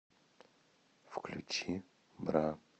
включи бра